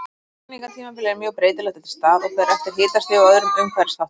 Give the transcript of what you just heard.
Hrygningartímabilið er mjög breytilegt eftir stað og fer eftir hitastigi og öðrum umhverfisþáttum.